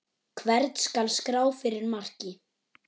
Hvern skal skrá fyrir marki?